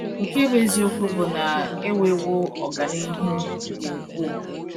Nke bụ eziokwu bụ, na enwewo ọganihu dị ukwuu.